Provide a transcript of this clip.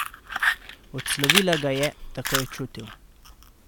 Odslovila ga je, tako je čutil.